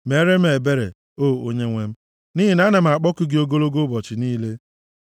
meere m ebere, O Onyenwe m, nʼihi na ana m akpọku gị ogologo ụbọchị niile.